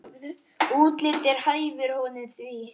Útlitið hæfir honum því.